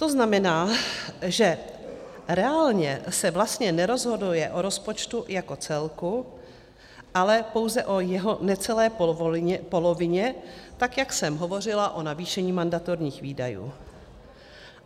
To znamená, že reálně se vlastně nerozhoduje o rozpočtu jako celku, ale pouze o jeho necelé polovině, tak jak jsem hovořila o navýšení mandatorních výdajů.